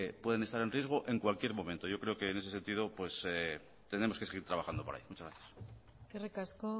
pueden estar en riesgo en cualquier momento yo creo que es ese sentido tenemos que seguir trabajando por ahí muchas gracias eskerrik asko